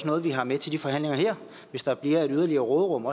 noget vi har med til de forhandlinger her hvis der bliver et yderligere råderum